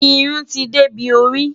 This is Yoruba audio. Irún ti dẹbí orí.